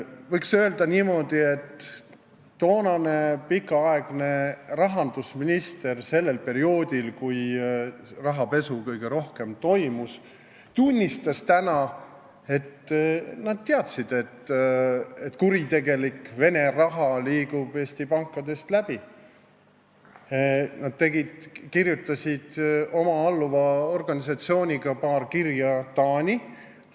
Võiks öelda, et see, kes oli rahandusminister sellel perioodil, kui rahapesu kõige rohkem toimus , tunnistas täna, et nad teadsid, et kuritegelik Vene raha liigub Eesti pankadest läbi, ning nad kirjutasid koos oma alluva organisatsiooniga paar kirja Taani.